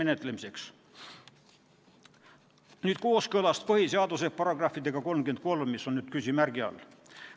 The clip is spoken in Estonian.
Nüüd kooskõlast põhiseaduse §-ga 33, mis on küsimärgi all.